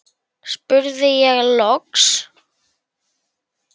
spurði ég loks.